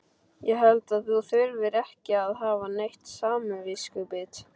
Ég held að þú þurfir ekki að hafa neitt samviskubit.